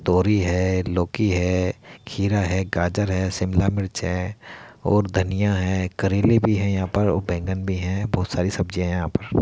तोरी है लोकी है खीरा है गाजर है शिमला मिर्च है और धनिया है करेले भी हैं। यहाँ पर वो बैंगन भी है बोहोत सारी सब्जिया हैं यहाँ पर।